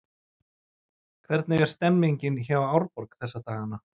Hvernig er stemningin hjá Árborg þessa dagana?